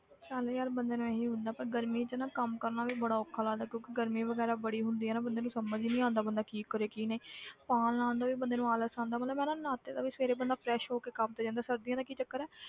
ਤਾਂ ਵੀ ਯਾਰ ਬੰਦੇ ਨੂੰ ਇਹੀ ਹੁੰਦਾ ਪਰ ਗਰਮੀ 'ਚ ਨਾ ਕੰਮ ਕਰਨਾ ਵੀ ਬੜਾ ਔਖਾ ਲੱਗਦਾ ਹੈ ਕਿਉਂਕਿ ਗਰਮੀ ਵਗ਼ੈਰਾ ਬੜੀ ਹੁੰਦੀ ਹੈ ਨਾ ਬੰਦੇ ਨੂੰ ਸਮਝ ਹੀ ਨੀ ਆਉਂਦਾ ਬੰਦਾ ਕੀ ਕਰੇ ਕੀ ਨਹੀਂ ਪਾ ਲਾਉਣ ਦਾ ਵੀ ਬੰਦੇ ਨੂੰ ਆਲਸ ਆਉਂਦਾ ਮਤਲਬ ਹੈ ਨਹਾਤੇ ਦਾ ਵੀ ਸਵੇਰੇ ਬੰਦਾ fresh ਹੋ ਕੇ ਕੰਮ ਤੇ ਜਾਂਦਾ ਸਰਦੀਆਂ ਦਾ ਕਿ ਚੱਕਰ ਹੈ,